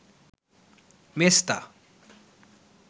মেছতা